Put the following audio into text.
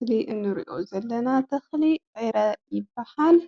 እዚ እንሪኦ ዘለና ተኽሊ ዕረ ይባሃል።